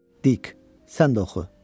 Dik, sən də oxu.